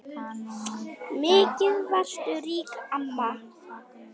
Mikið varstu rík amma.